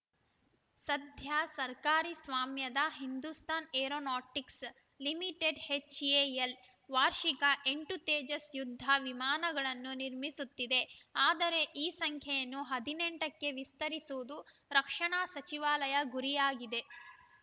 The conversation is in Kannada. ಸದ್ಯ ಸರ್ಕಾರಿ ಸ್ವಾಮ್ಯದ ಹಿಂದೂಸ್ತಾನ್‌ ಏರೋನಾಟಿಕ್ಸ್‌ ಲಿಮಿಟೆಡ್ ಎಚ್‌ಎಎಲ್‌ ವಾರ್ಷಿಕ ಎಂಟು ತೇಜಸ್‌ ಯುದ್ಧ ವಿಮಾನಗಳನ್ನು ನಿರ್ಮಿಸುತ್ತಿದೆ ಆದರೆ ಈ ಸಂಖ್ಯೆಯನ್ನು ಹದಿನೆಂಟ ಕ್ಕೆ ವಿಸ್ತರಿಸುವುದು ರಕ್ಷಣಾ ಸಚಿವಾಲಯ ಗುರಿಯಾಗಿದೆ